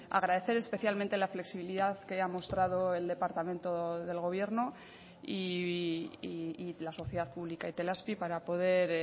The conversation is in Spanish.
agradecer especialmente la flexibilidad que ha mostrado el departamento del gobierno y la sociedad pública itelazpi para poder